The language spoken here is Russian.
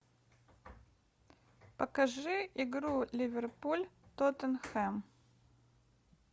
покажи игру ливерпуль тоттенхэм